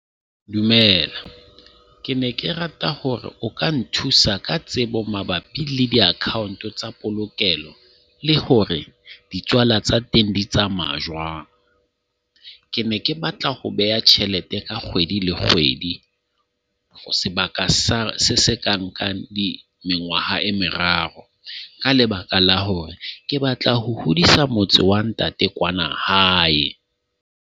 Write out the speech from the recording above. Dumela, ke ne ke rata hore o ka nthusa ka tsebo mabapi le di-account tsa polokelo, le hore ditswala tsa teng di tsamaya jwang. Ke ne ke batla ho beha tjhelete ka kgwedi le kgwedi. Sebaka sa se se ka nka mengwaha e meraro, ka lebaka la hore ke batla ho hodisa motse wa ntate kwana hae.